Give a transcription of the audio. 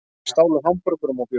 Stálu hamborgurum og bjór